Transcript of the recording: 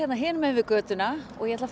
yfir götuna og ég ætla